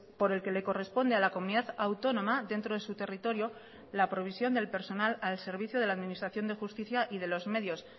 por el que le corresponde a la comunidad autónoma dentro de su territorio la provisión del personal al servicio de la administración de justicia y de los medios